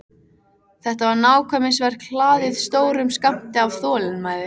Þetta var nákvæmnisverk hlaðið stórum skammti af þolinmæði.